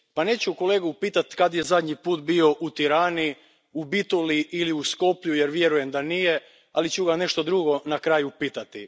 Neću kolegu pitati kad je zadnji puta bio u Tirani, u Bitoli ili u Skoplju jer vjerujem da nije, ali ću ga nešto drugo na kraju pitati.